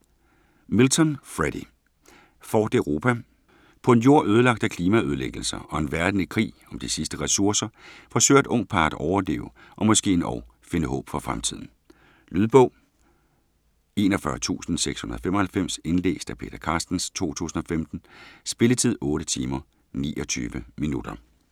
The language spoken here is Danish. Milton, Freddy: Fort Europa På en Jord ødelagt af klimaødelæggelser, og en verden i krig om de sidste ressourcer, forsøger et ungt par at overleve og måske endog finde håb for fremtiden. Lydbog 41695 Indlæst af Peter Carstens, 2015. Spilletid: 8 timer, 29 minutter.